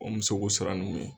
O muso k'o siran nu ɲɛn.